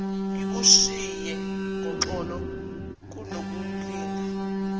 ngikushiye ngoxolo kunokulinda